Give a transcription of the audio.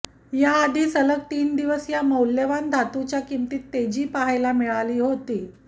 याआधील सलग तीन दिवस या मौल्यवान धातूच्या किंमतीत तेजी पाहायला मिळाली होती